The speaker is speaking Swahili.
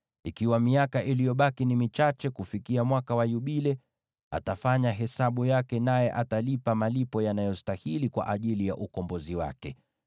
Ikiwa miaka iliyobaki ni michache kufikia Mwaka wa Yubile, atafanya hesabu yake, naye atalipa malipo yanayostahili kwa ajili ya ukombozi wake.